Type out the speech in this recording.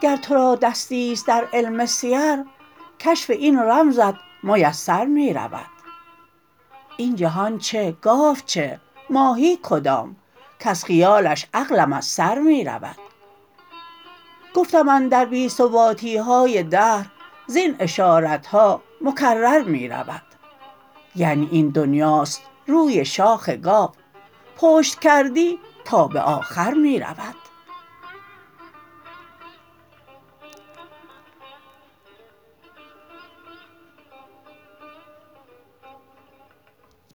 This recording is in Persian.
گر ترا دستی است درعلم سیر کشف این رمزت میسر می رود این جهان چه گاو چه ماهی کدام کز خیالش عقلم از سر می رود گفتم اندر بی ثباتی های دهر زبن اشارت ها مکرر می رود یعنی این دنیاست روی شاخ گاو پشت کردی تا به آخر می رود